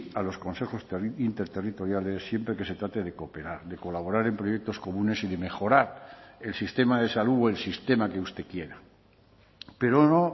a los consejos interterritoriales siempre que se trate de cooperar de colaborar en proyectos comunes y de mejorar el sistema de salud o el sistema que usted quiera pero no